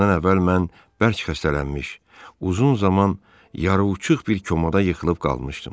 Bundan əvvəl mən bərk xəstələnmiş, uzun zaman yarıhuşuq bir komada yıxılıb qalmışdım.